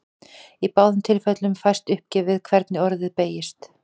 Í báðum tilfellum fæst uppgefið hvernig orðið beygist.